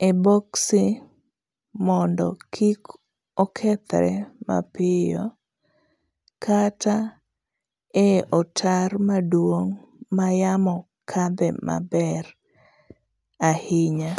e boksi mondo kik okethre mapiyo kata ei otar maduong' mayamo kadhe maber ahinya.